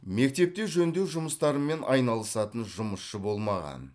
мектепте жөндеу жұмыстарымен айналысатын жұмысшы болмаған